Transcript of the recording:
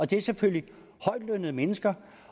det er selvfølgelig højtlønnede mennesker